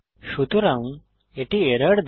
সুতরাং এটি এরর দেয়